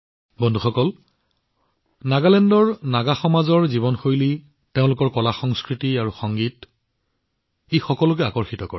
বন্ধুসকল নাগালেণ্ডৰ নাগা সম্প্ৰদায়ৰ জীৱনশৈলী তেওঁলোকৰ কলাসংস্কৃতি আৰু সংগীতে সকলোকে আকৰ্ষিত কৰে